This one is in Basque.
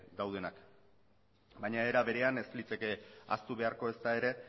daudenak baina era berean ez liteke ahaztu beharko ezta ere